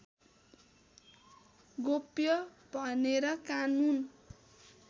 गोप्य भनेर कानून